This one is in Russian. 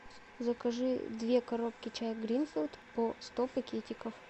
закажи две коробки чая гринфилд по сто пакетиков